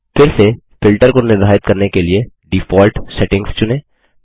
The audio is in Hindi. फिर से फिल्टर को निर्धारित करने के लिए डिफॉल्ट सेटिंग्स चुनें